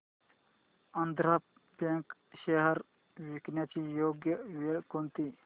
Andhra bank shares विकण्याची योग्य वेळ कोणती